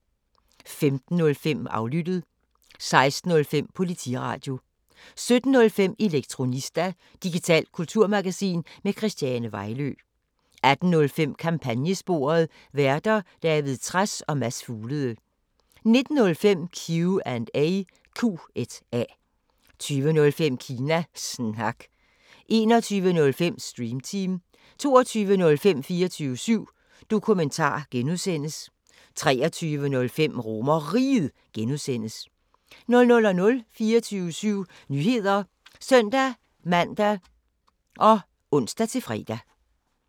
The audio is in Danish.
15:05: Aflyttet 16:05: Politiradio 17:05: Elektronista – digitalt kulturmagasin med Christiane Vejlø 18:05: Kampagnesporet: Værter: David Trads og Mads Fuglede 19:05: Q&A 20:05: Kina Snak 21:05: Stream Team 22:05: 24syv Dokumentar (G) 23:05: RomerRiget (G) 00:00: 24syv Nyheder (søn-man og ons-fre)